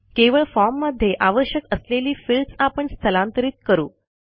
केवळ फॉर्म मध्ये आवश्यक असलेली फील्ड्स आपण स्थलांतरित करू